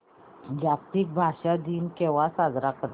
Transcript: जागतिक भाषा दिन केव्हा साजरा करतात